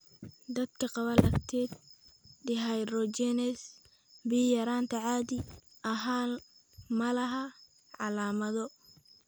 Dadka qaba lactate dehydrogenase B yaraanta caadi ahaan ma laha calaamado.